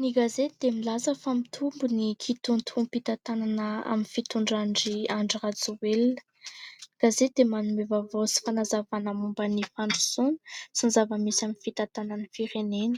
Ny gazety dia milaza fa :" Mitombo ny kitoatoam-pitantanana amin'ny fitondran- dry Andry Rajoelina. Ny gazety dia manome vaovao sy fanazavana momba ny fandrosoana sy ny zava-misy amin'ny fitantanana ny firenena ;